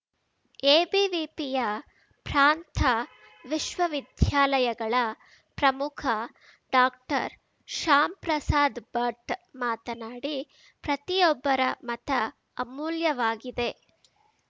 ಎಬಿವಿಪಿಯ ಪ್ರಾಂತ ವಿಶ್ವವಿದ್ಯಾಲಯಗಳ ಪ್ರಮುಖ ಡಾಕ್ಟರ್ ಶಾಮ್‌ಪ್ರಸಾದ್ ಭಟ್ ಮಾತನಾಡಿ ಪ್ರತಿಯೊಬ್ಬರ ಮತ ಅಮೂಲ್ಯವಾಗಿದೆ